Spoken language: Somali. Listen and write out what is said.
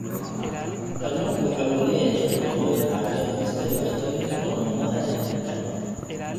Kalluunku waxa uu leeyahay nafaqooyin caawiya dhimista dhibaatooyinka hormoonnada ee jidhka.